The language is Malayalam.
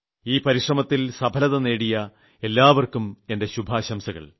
ഈ പരിശ്രമത്തിൽ വിജയം നേടിയ എല്ലാപേർക്കും എന്റെ ശുഭാശംസകൾ